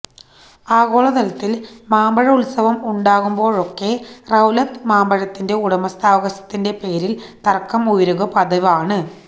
ആഗോളതലത്തില് മാമ്പഴ ഉത്സവം ഉണ്ടാകുമ്പോഴൊക്കെ റത്തൌല് മാമ്പഴത്തിന്റെ ഉടമസ്ഥാവകാശത്തിന്റെ പേരില് തര്ക്കം ഉയരുക പതിവാണ്